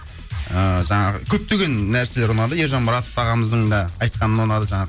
ыыы жаңағы көптеген нәрселер ұнады ержан баратов ағамыздың да айтқаны ұнады жаңағы